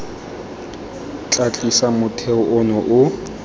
tla tiisa motheo ono o